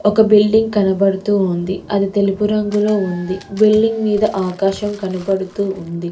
ఒక బిల్డింగ్ కనబడుతూ ఉంది అది తెలుపు రంగులో ఉంది బిల్డింగ్ మీద ఆకాశం కనబడుతూ ఉంది.